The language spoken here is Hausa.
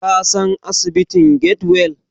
Ka san asibitin Get-well?